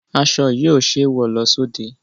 Aṣọ yìí ò ṣẹ́ wọ lọ sóde.